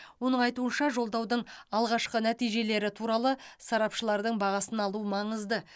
оның айтуынша жолдаудың алғашқы нәтижелері туралы сарапшылардың бағасын алу маңызды